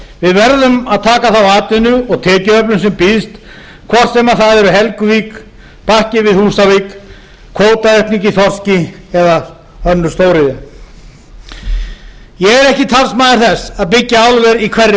við verðum að taka þá atvinnu og tekjuöflun sem býðst hvort sem það er helguvík og bakki við húsavík kvótaaukning á þorski eða önnur stóriðja ég er ekki talsmaður þess að byggja álver í hverri höfn